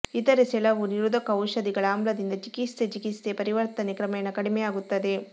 ಇತರೆ ಸೆಳವು ನಿರೋಧಕ ಔಷಧಿಗಳ ಆಮ್ಲದಿಂದ ಚಿಕಿತ್ಸೆ ಚಿಕಿತ್ಸೆ ಪರಿವರ್ತನೆ ಕ್ರಮೇಣ ಕಡಿಮೆಯಾಗುತ್ತದೆ